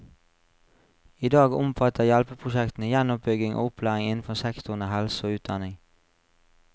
Idag omfatter hjelpeprosjektene gjenoppbygging og opplæring innenfor sektorene helse og utdanning.